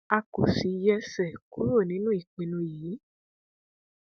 a kò sì yẹsẹ kúrò nínú ìpinnu yìí